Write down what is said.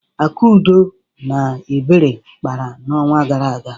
Akudo na Ebere kpara n'ọnwa gara aga.